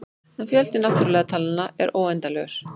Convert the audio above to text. En fjöldi náttúrulegu talnanna er óendanlegur.